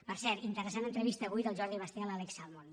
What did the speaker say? per cert interessant entrevista avui del jordi basté a l’alex salmond